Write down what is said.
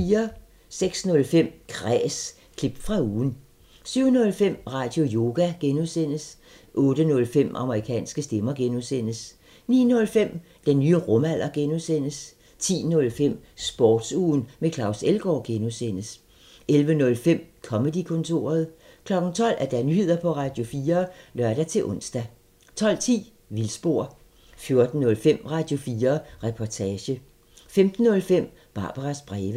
06:05: Kræs – klip fra ugen 07:05: Radioyoga (G) 08:05: Amerikanske stemmer (G) 09:05: Den nye rumalder (G) 10:05: Sportsugen med Claus Elgaard (G) 11:05: Comedy-kontoret 12:00: Nyheder på Radio4 (lør-ons) 12:10: Vildspor 14:05: Radio4 Reportage 15:05: Barbaras breve